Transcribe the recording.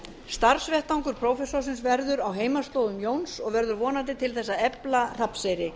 starfsvettvangur prófessorsins verður á heimaslóðum jóns og verður vonandi til þess að efla hrafnseyri